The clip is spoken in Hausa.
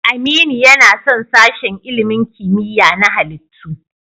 Aminu yana son sashen ilimin kimiyya na halittu.